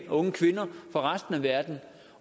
og unge kvinder fra resten af verden